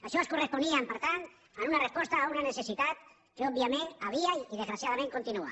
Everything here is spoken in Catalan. això es corresponia per tant a una resposta a una necessitat que òbviament hi havia i desgraciadament continua